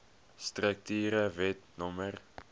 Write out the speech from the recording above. strukture wet no